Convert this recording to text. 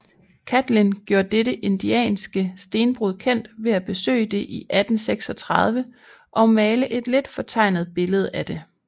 Catlin gjorde dette indianske stenbrud kendt ved at besøge det i 1836 og male et lidt fortegnet billede af det